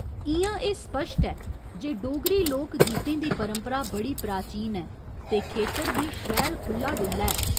इ'यां एह् सपश्ट ऐ जे डोगरी लोक गीतें दी परंपरा बड़ी प्राचीन ऐ ते खेतर बी शैल खु'ल्ला डु'ल्ला ऐ।